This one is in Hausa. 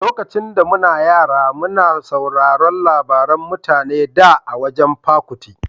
Lokacin da muna yara muna sauraron labaran mutane da a wajan Pa Kuti.